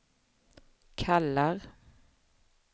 kallar